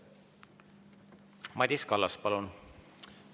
Madis Kallas, palun!